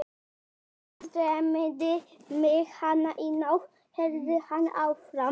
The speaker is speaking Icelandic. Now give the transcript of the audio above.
Annars dreymdi mig hana í nótt, hélt hann áfram.